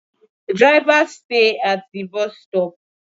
Drivers stay at the bus stop